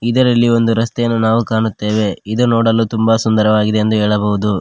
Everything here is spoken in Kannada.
ಇದರಲ್ಲಿ ಒಂದು ರಸ್ತೆಯನ್ನು ನಾವು ಕಾಣುತ್ತೇವೆ ಇದು ನೋಡಲು ತುಂಬ ಸುಂದರವಾಗಿದೆ ಎಂದು ಹೇಳಬಹುದು.